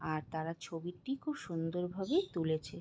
আর তারা ছবিটি খুব সুন্দর ভাবে তুলেছে।